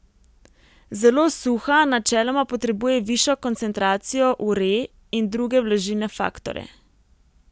Zelo suha načeloma potrebuje višjo koncentracijo uree in druge vlažilne faktorje.